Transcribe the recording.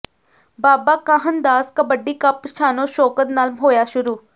ਬਾਬਾ Kahan Das kabaddi cup ਸ਼ਾਨੋ ਸ਼ੋਕਤ ਨਾਲ ਹੋਇਆ ਸ਼ੁਰੂ